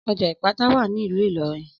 Ọjà Ìpátá wà ní ìlú Ìlọrin